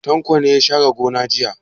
Tanko ne ya share gona jiya.